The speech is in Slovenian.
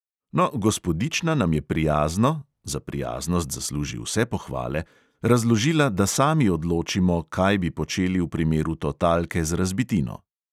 No, gospodična nam je prijazno (za prijaznost zasluži vse pohvale) razložila, da sami odločimo, kaj bi počeli v primeru totalke z razbitino.